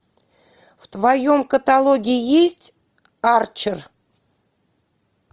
в твоем каталоге есть арчер